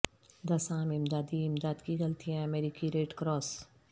دس عام امدادی امداد کی غلطیاں امریکی ریڈ کراس